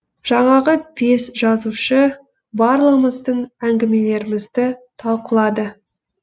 жаңағы бес жазушы барлығымыздың әңгімелерімізді талқылады